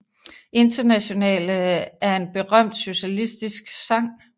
Internationale er en berømt socialistisk sang